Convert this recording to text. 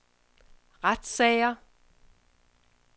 retssager